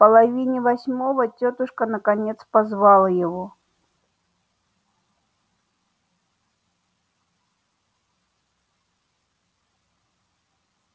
в половине восьмого тётушка наконец позвала его